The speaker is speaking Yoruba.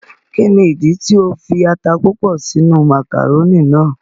Ki ni ìdí tí o fi ata púpọ sí inú màkàrónì náà?